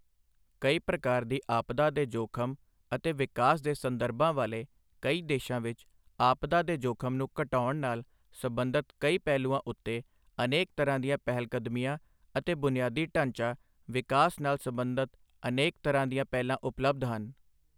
ਕਈ ਪ੍ਰਕਾਰ ਦੀ ਆਪਦਾ ਦੇ ਜੋਖ਼ਮ ਅਤੇ ਵਿਕਾਸ ਦੇ ਸੰਦਰਭਾਂ ਵਾਲੇ ਕਈ ਦੇਸ਼ਾਂ ਵਿੱਚ ਆਪਦਾ ਦੇ ਜੋਖ਼ਮ ਨੂੰ ਘਟਾਉਣ ਨਾਲ ਸਬੰਧਤ ਕਈ ਪਹਿਲੂਆਂ ਉੱਤੇ ਅਨੇਕ ਤਰ੍ਹਾਂ ਦੀਆਂ ਪਹਿਲਕਦਮੀਆਂ ਅਤੇ ਬੁਨਿਆਦੀ ਢਾਂਚਾ ਵਿਕਾਸ ਨਾਲ ਸਬੰਧਤ ਅਨੇਕ ਤਰ੍ਹਾਂ ਦੀਆਂ ਪਹਿਲਾਂ ਉਪਲੱਬਧ ਹਨ।